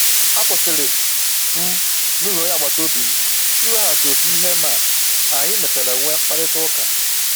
A kwụsịrị m na ụlọ onye agbata obi m iweghachi otu ihe ma anyị mechara nwee mkparịta ụka